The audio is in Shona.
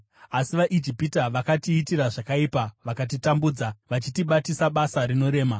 Asi vaIjipita vakatiitira zvakaipa, vakatitambudza, vachitibatisa basa rinorema.